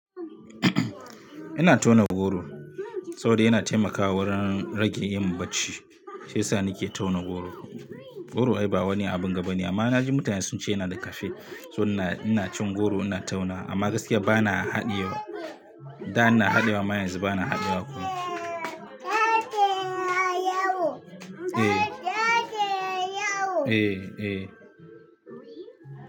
Ina tauna goro, saboda yana taimakawa wurin rage yin bacci shiyasa nake tauna goro, goro ai ba wani abunga bane, amma naji mutane suna cewa wai yana da caffeine so ina cin goro ina taunawa amma gaskiya bana haɗiyewa, da ina haɗiyewa amma yanzun bana haɗiyewa.